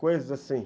Coisas assim.